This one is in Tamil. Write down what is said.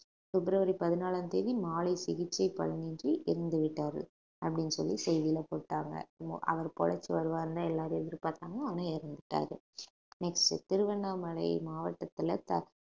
பிப்ரவரி பதினாலாம் தேதி மாலை சிகிச்சை பலனின்றி இறந்துவிட்டாரு அப்படின்னு சொல்லி செய்தியில போட்டாங்க அவர் பொழச்சு வருவார்னுதான் எல்லாரும் எதிர்பார்த்தாங்க ஆனா இறந்துட்டாரு next திருவண்ணாமலை மாவட்டத்துல த~